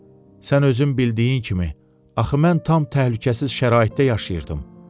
Sən özün bildiyin kimi, axı mən tam təhlükəsiz şəraitdə yaşayırdım.